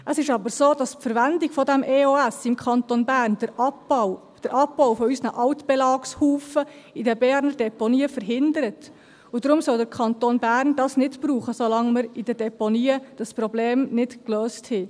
Es ist aber so, dass die Verwendung dieser EOS im Kanton Bern den Abbau unserer Altbelagshaufen in den Berner Deponien verhindert, und deshalb soll der Kanton Bern das nicht verwenden, solange wir in den Deponien dieses Problem nicht gelöst haben.